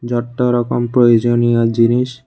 যট্ট রকম প্রয়োজনীয় জিনিস--